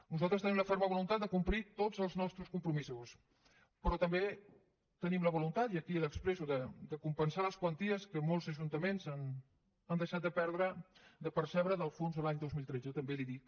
nosaltres tenim la ferma voluntat de complir tots els nostres compromisos però també tenim la voluntat i aquí l’expresso de compensar les quanties que molts ajuntaments han deixat de percebre del fons de l’any dos mil tretze també li ho dic